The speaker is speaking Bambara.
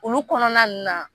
Olu kɔnɔna ninnu na